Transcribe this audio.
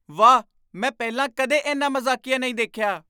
ਵਾਹ! ਮੈਂ ਪਹਿਲਾਂ ਕਦੇ ਇੰਨਾ ਮਜ਼ਾਕੀਆ ਨਹੀਂ ਦੇਖਿਆ!